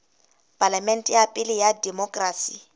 palamente ya pele ya demokerasi